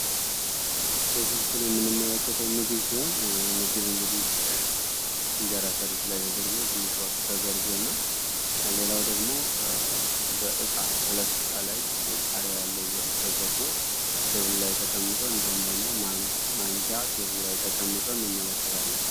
በዚህ ምስል የምንማለከተው ምግብ ሲሆን የምግብ እንግዲህ እንጀራ ሰርቪስ ላይ ተደርጉ ትንሽ ወጥ ተደርጉ እና ሌላው ደግሞ በዕቃ ሁለት ዕቃ ላይ ቃርያ ያለው ወጥ ተደርጎ ቴብል ላይ ተቀምጦ እንደሁም ደግሞ ማንኪያ ቴብሉ ላይ ተቀምጠ እንመለከታለን።